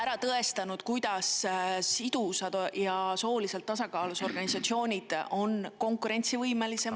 … ära tõestanud, kuidas sidusad ja sooliselt tasakaalus organisatsioonid on konkurentsivõimelisemad …